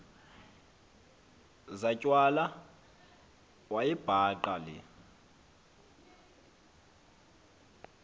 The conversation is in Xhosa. zatywala wayibhaqa le